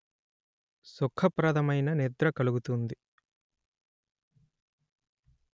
సుఖ ప్రధమైన నిద్ర కలుగుతుంది